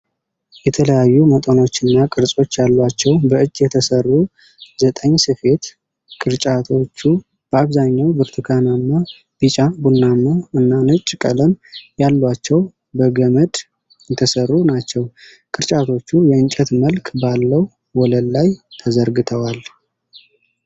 የተለያዩ መጠኖችና ቅርጾች ያሏቸው፣ በእጅ የተሠሩ ዘጠኝስፊት። ቅርጫቶቹ በአብዛኛው ብርቱካናማ፣ ቢጫ፣ ቡናማ እና ነጭ ቀለሞች ያሏቸው በገመድ የተሠሩ ናቸው። ቅርጫቶቹ የእንጨት መልክ ባለው ወለል ላይ ተዘርግተዋል።